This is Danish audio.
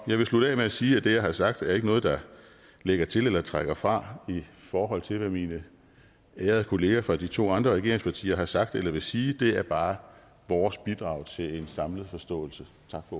jeg vil slutte af med at sige at det jeg har sagt ikke er noget der lægger til eller trækker fra i forhold til hvad mine ærede kolleger fra de to andre regeringspartier har sagt eller vil sige det er bare vores bidrag til en samlet forståelse